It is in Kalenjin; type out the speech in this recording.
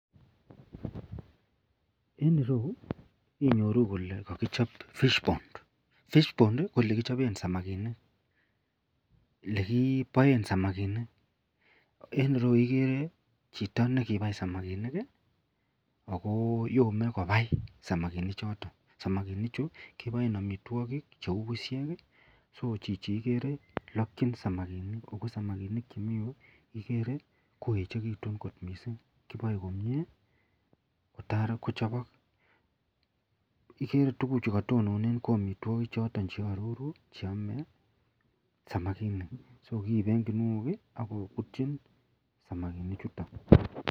En ireyu inyoru Kole kakichop fish pond, fish pond ko yelekibaen samakinik en ireyu igere Chito nekibai samakinik akoyome kobai samakinik choton akoyome agebaen amitwagik cheu bushek chuigere Lakin segemik ako samakinik Chemiten ireyu kere Kole koechekitun kot mising sikeboe komie kotar kochobok igere tuguk chukatelelen koamitwagik chotonaroru cheyame samakinik so ki en kinuok akobutin samakinik chuton.